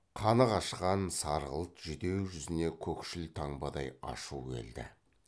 қаны қашқан сарғылт жүдеу жүзіне көкшіл таңбадай ашу келді